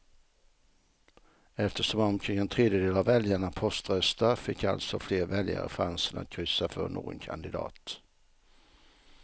Eftersom omkring en tredjedel av väljarna poströstar fick alltså fler väljare chansen att kryssa för någon kandidat.